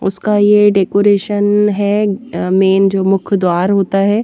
उसका ये डेकोरेशन हैमेन अ जो मुख द्वार होता है।